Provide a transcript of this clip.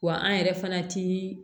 Wa an yɛrɛ fana ti